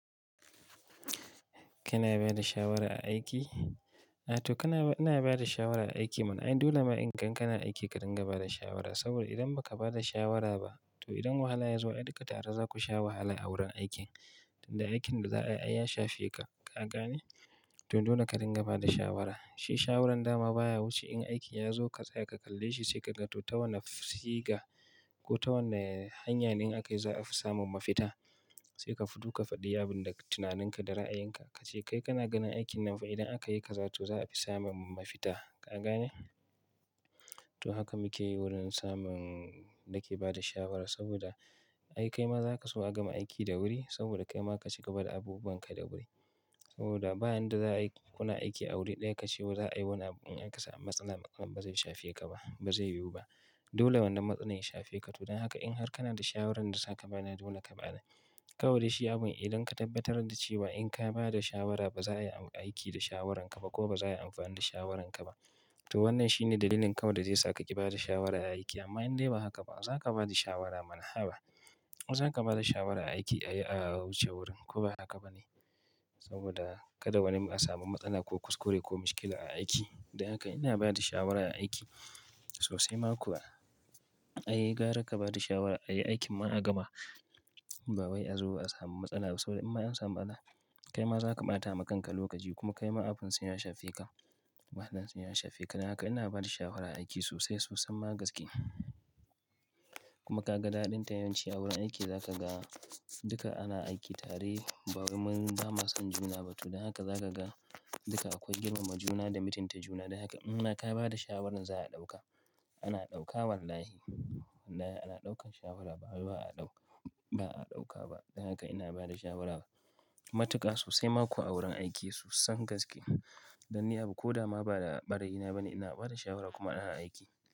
Kana bada shawara a aiki? A to kana ba-- ina ba da shawara a aiki mana. Ai dole ma in kan, kana aiki ka dinga ba da shawara. Saboda idan ba ka ba da shawara ba, to idan wahala ya zo, ai duka tare za ku sha wahala a wurin aikin. Da aikin da za a yi ya shafe ka, ka gane? To dole ka dinga ba da shawara. Shi shawarar dama baya wuce in aiki ya zo ka tsaya ka kalle shi sai ka ga to ta wane siga ko ta wane hanya ne in aka yi za a fi samun mafita. Sai ka fito ka faɗi abin da tunaninka da ra'ayinka. Ka ce kai kana ganin aikin nan fa idan aka yi kaza to za a fi samun mafita, ka gane? To haka muke yi wurin samun nake ba da shawara saboda ai kaima za ka so a gama aiki da wuri saboda kaima ka cika bada abubunka da wuri. Saboda ba yanda za'a yi, kuna aiki a wuri ɗaya ka ce wa za a yi wani abu in aka samu matsala ba zai shafe ka ba, ba zai yiwu ba. Dole wannan matsalan ya shafe ka. To don haka in har kana da shawarar da za ka ba ni dole ka ba ni. Kawai shi abun idan ka tabbatar da cewa in ka ba da shawara ba za a yi aiki da shawaranka ba ko ba za a yi amfani da shawaranka ba, to wannan shine dalilin kawai da zai saka ki ba da shawara a aiki. Amma in dai ba haka ba, za ka ba da shawara mana, haba. Zaka bada shawara a aiki ayi a wuce wuri, ko ba haka bane? saboda kada wani a samu matsala ko mishkila a aiki. Dan haka ina bada shawara a aiki, sosai ma kuwa, ai gara ka bada shawara ati aikin ma a gama ba wai a zo a samu matsala ba. Saboda amma in an samu matsala, kai ma za ka ɓata ma kanka lokaci kuma kai ma abunsa ya shafe ka. Wahalan sai ya shafe ka. Don haka ina ba da shawara a aiki sosai sosai ma gaske. Kuma ka ga daɗin ta'yamanci a wurin aiki za ka ga duka ana aiki tare ba wai mun ba ma son juna ba. To don haka za ka ga duka akwai girmama juna da mitin ta juna. Don haka in haka ka ba da shawarar za a ɗauka. Ana ɗauka wallahi. Wallahi ana ɗaukar shawara ba wai ba'a ɗauka- ba a ɗauka ba. Don haka ina ba da shawarar matuƙa sosai ma kuwa a wurin aiki sosson gaske. Dan ni abu ko da ma ba da ɓarayina bane ina ba da shawara kuma ina aiki.